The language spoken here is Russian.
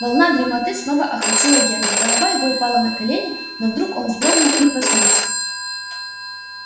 волна дремоты снова охватила генри голова его упала на колени но вдруг он вздрогнул и проснулся